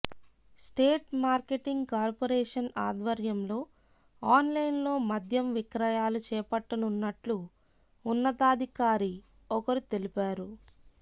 state marketing corporation ఆధ్వర్యంలో ఆన్లైన్లో మద్యం విక్రయాలు చేపట్టనున్నట్లు ఉన్నతాధికారి ఒకరు తెలిపారు